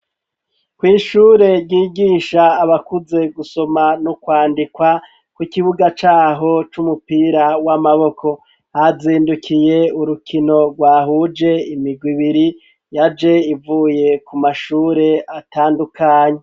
Kw'ishure ryigisha abakuze gusoma no kwandikwa ku ikibuga caho c'umupira w'amaboko hazindukiye urukino rwahuje imigwi ibiri yaje ivuye ku mashure atandukanye.